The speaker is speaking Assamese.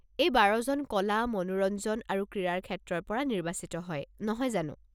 এই বাৰজন কলা, মনোৰঞ্জন আৰু ক্ৰীড়াৰ ক্ষেত্ৰৰ পৰা নিৰ্বাচিত হয়, নহয় জানো?